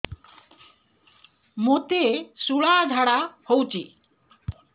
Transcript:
ମୋତେ ଶୂଳା ଝାଡ଼ା ହଉଚି